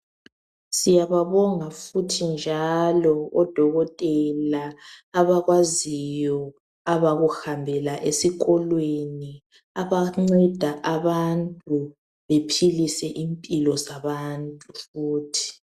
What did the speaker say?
Siyababonga futhi njalo oDokotela abakwaziyo abakuhambela esikolweni , abanceda abantu bephilise impilo zabantu futhi.